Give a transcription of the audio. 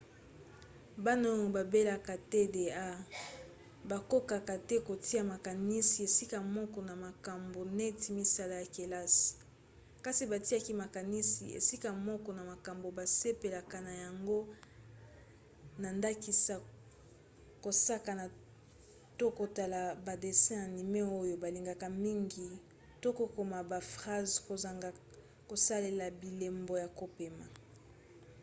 bana oyo babelaka tda bakokaka te kotia makanisi esika moko na makambo neti misala ya kelasi kasi batiaka makanisi esika moko na makambo basepelaka na yango na ndakisa kosakana to kotala badessin anime oyo balingaka mingi to kokoma ba phrase kozanga kosalela bilembo ya kopema